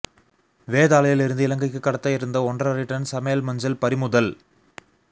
வேதாளையில் இருந்து இலங்கைக்கு கடத்த இருந்த ஒன்றரை டன் சமையல் மஞ்சள் பறிமுதல்